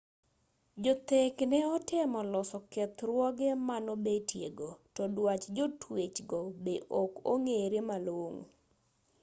jothek ne otemo loso kethruoge manobetie go to dwach jotwech go be ok ong'ere malong'o